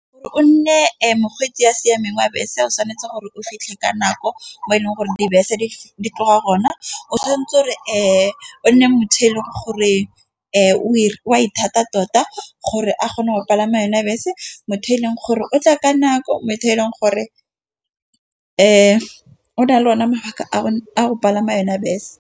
Gore o nne mokgweetsi yo o siameng wa bese o tshwanetse gore o fitlhe ka nako. Mo e leng gore dibese di tloga ka nako. O tshwantse re nne motho eleng gore o e wa ithata tota gore a kgone go palama yona bese. Motho yo e leng gore o tla ka nako, motho yo e leng gore o na le one mabaka a a go palama yona bese.